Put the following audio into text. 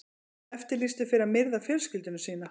Eftirlýstur fyrir að myrða fjölskyldu sína